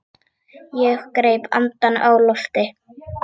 Ég greip andann á lofti.